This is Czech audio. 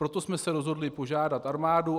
Proto jsme se rozhodli požádat armádu.